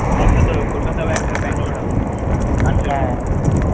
একটা তো ওই কলকাতায় হবে একটা ব্যঙ্গালুর হবে তো